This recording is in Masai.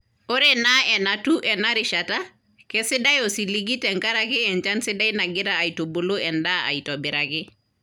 Ore enaa enatiu ena rishata , keisidai osiligi tenkaraki enchan sidai nagira aitubulu endaa aitobiraki.